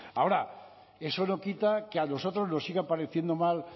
ahora eso no quita que a nosotros nos siga pareciendo mal